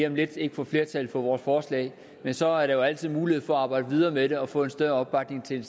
om lidt ikke får flertal for vores forslag men så er der jo altid mulighed for at arbejde videre med det og få en større opbakning til